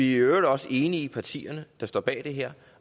i øvrigt også i partierne der står bag det her